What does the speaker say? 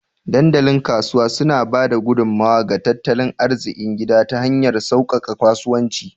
Dandalin Kasuwa suna ba da gudummawa ga tattalin arzikin gida ta hanyar sauƙaƙe kasuwanci